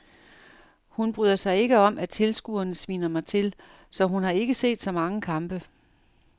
Hun bryder sig ikke om at tilskuerne sviner mig til, så hun har ikke set så mange kampe.